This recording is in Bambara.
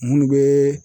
Munnu be